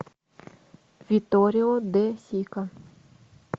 витторио де сика